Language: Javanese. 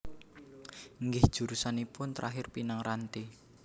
Nggih jurusanipun terakhir Pinang Ranti